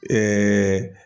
Ɛɛɛ